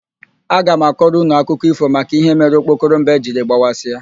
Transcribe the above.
Aga m akọrọ ụnụ akụkọ ífò maka íhé mere okpokoro mbe jiri gbawasịa.